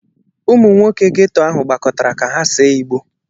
Ụmụ nwoke ghetto ahụ gbakọtara ka ha see igbo.